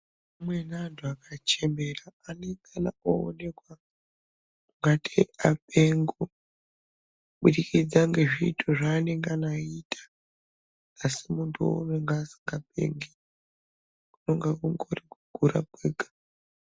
Amweni anti akachembera anongana oonekwa ngatei apengo kubudikidza ngezviito zvanenge oita asi muntu uwowo anenge asingapengi kunonga kuri kukura kwega.